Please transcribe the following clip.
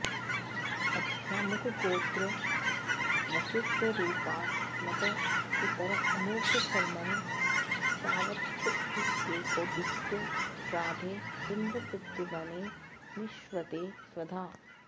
अद्यामुकगोत्र वसुस्वरूपास्मत् पितर अमुक शर्मन् सांवत्सरिकैकोद्दिष्ट श्राद्धे पिण्ड प्रत्यवने निक्ष्वते स्वधा